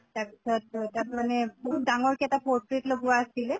তাৰ পিছত অ তাত মানে বহুত ডাঙৰকে এটা portrait লগোৱা আছিলে